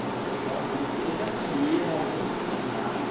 Eu não sei como, eles eles já sabiam, alguém tinha ensinado.